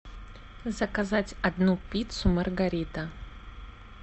заказать одну пиццу маргарита